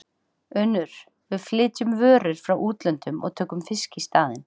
UNNUR: Við flytjum vörur frá útlöndum og tökum fisk í staðinn.